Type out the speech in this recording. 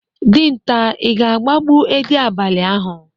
Dinta, Ị ga-agbagbo edị abalị ahụ.